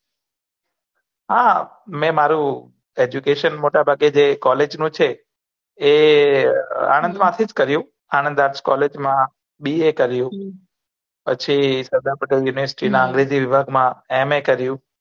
હા મેં મારું education મોટા ભાગે જે કોલેજ નું છે એ આનંદ માંથી થી કર્યું આનંદ આર્ટસ કોલેજ માં B. A પછી સરદાર પટેલ university ના અંગ્રેજી વિભાગ માં M. A કર્યું